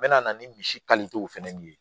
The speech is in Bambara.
N mɛna ni misi fɛnɛ nin ye